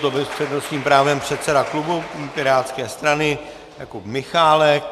To byl s přednostním právem předseda klubu pirátské strany Jakub Michálek.